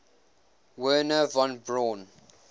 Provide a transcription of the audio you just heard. wernher von braun